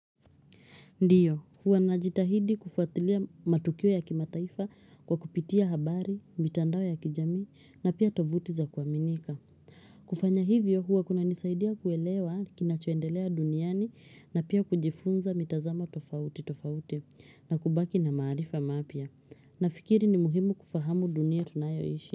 Ndiyo, huwa najitahidi kufuatilia matukio ya kimataifa kwa kupitia habari, mitandao ya kijamii na pia tovuti za kuaminika. Kufanya hivyo huwa kunanisaidia kuelewa kinachoendelea duniani na pia kujifunza mitazamo tofauti tofauti na kubaki na maarifa mapya. Nafikiri ni muhimu kufahamu dunia tunayoishi.